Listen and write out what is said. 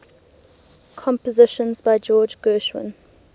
compositions by george gershwin